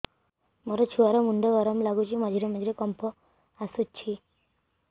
ମୋ ଛୁଆ ର ମୁଣ୍ଡ ଗରମ ଲାଗୁଚି ମଝିରେ ମଝିରେ କମ୍ପ ଆସୁଛି